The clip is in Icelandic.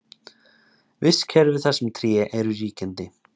Vistkerfi þar sem tré eru ríkjandi.